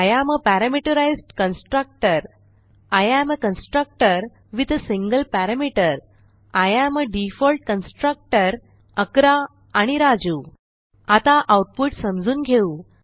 I am a parameterised constructor I am a constructor with a single parameter I am a default constructor 11 आणि राजू आता output समजून घेऊ